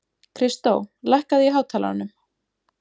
Kristó, lækkaðu í hátalaranum.